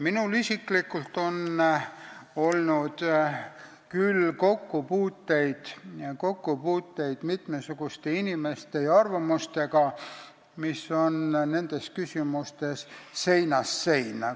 Minul isiklikult on olnud kokkupuuteid mitmesuguste inimeste ja arvamustega, mis on nendes küsimustes seinast seina.